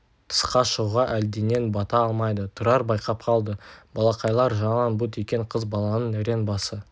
тысқа шығуға әлденеден бата алмайды тұрар байқап қалды балақайлар жалаң бұт екен қыз баланың рең басы